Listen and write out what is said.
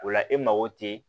O la e mago tɛ